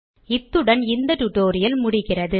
இத்துடன் இந்த டியூட்டோரியல் முடிகிறது